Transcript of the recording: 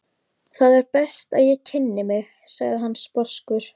Það er best að ég kynni mig, sagði hann sposkur.